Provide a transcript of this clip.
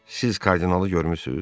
Siz kardinalı görmürsüz?